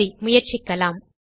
சரி முயற்சிக்கலாம்